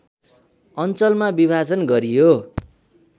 अञ्चलमा विभाजन गरियो